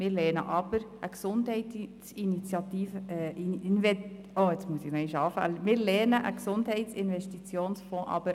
Wir lehnen jedoch einen Gesundheits-Investitionsfonds ab.